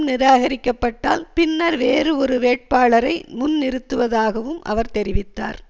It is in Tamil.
நிராகரிக்கப்பட்டால் பின்னர் வேறு ஒரு வேட்பாளரை முன்னிறுத்துவதாகவும் அவர் தெரிவித்தார்